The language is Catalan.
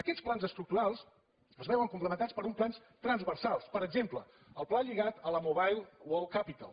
aquests plans estructurals es veuen complementats per uns plans transversals per exemple el pla lligat a la mobile world capital